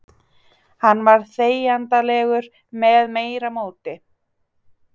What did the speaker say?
Hann var þegjandalegur með meira móti.